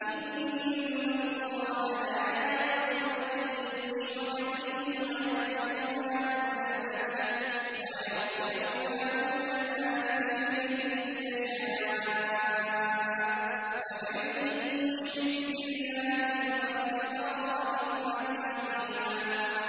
إِنَّ اللَّهَ لَا يَغْفِرُ أَن يُشْرَكَ بِهِ وَيَغْفِرُ مَا دُونَ ذَٰلِكَ لِمَن يَشَاءُ ۚ وَمَن يُشْرِكْ بِاللَّهِ فَقَدِ افْتَرَىٰ إِثْمًا عَظِيمًا